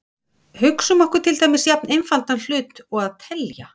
Hugsum okkur til dæmis jafn einfaldan hlut og að telja.